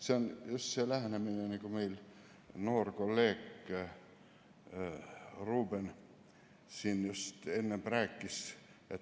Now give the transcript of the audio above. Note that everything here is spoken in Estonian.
See on just see lähenemine, nagu noor kolleeg Ruuben siin just enne rääkis.